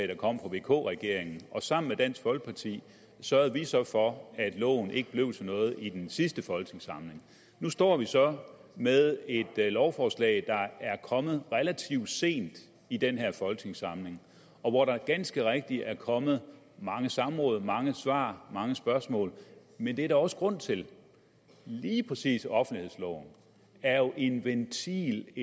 der kom fra vk regeringen og sammen med dansk folkeparti sørgede de så for at loven ikke blev til noget i den sidste folketingssamling nu står vi så med et lovforslag der er kommet relativt sent i den her folketingssamling og hvor der ganske rigtigt er kommet mange samråd mange svar mange spørgsmål men det er der også grund til lige præcis offentlighedsloven er jo en ventil